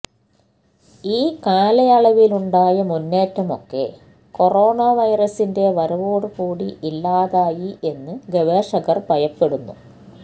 ഈ കാലയളവിലുണ്ടായ മുന്നേറ്റമൊക്കെ കൊറോണാ വൈറസിന്റെ വരവോടു കൂടി ഇല്ലാതായി എന്ന് ഗവേഷകർ ഭയപ്പെടുന്നു